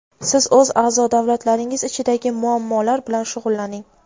Siz o‘z a’zo davlatlaringiz ichidagi muammolar bilan shug‘ullaning.